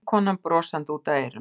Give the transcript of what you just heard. Vinkonan brosandi út að eyrum.